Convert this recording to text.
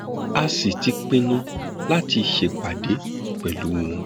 a sì ti pinnu láti ṣèpàdé pẹlú wọn